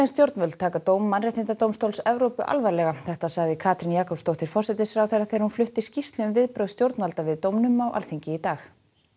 stjórnvöld taka dóm Mannréttindadómstóls Evrópu alvarlega þetta sagði Katrín Jakobsdóttir forsætisráðherra þegar hún flutti skýrslu um viðbrögð stjórnvalda við dómnum á Alþingi í dag